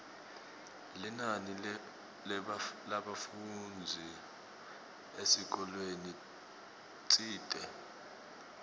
linani lebafundzi esikolweni tsite